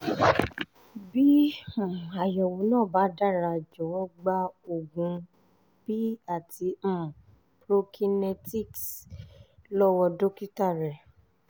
bí um àyẹ̀wò náà bá dára jọ̀wọ́ gba oògùn p àti um prokinetics lọ́wọ́ dókítà rẹ